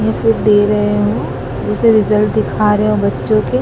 जो कि दे रहे हों उसे रिजल्ट दिखा रहे हों बच्चों के।